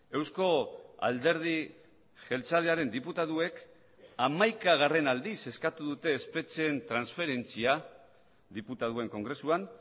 eusko alderdi jeltzalearen diputatuek hamaikagarren aldiz eskatu dute espetxeen transferentzia diputatuen kongresuan